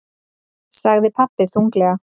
sagði pabbi þunglega.